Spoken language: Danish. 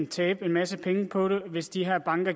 tabt en masse penge på det hvis de her banker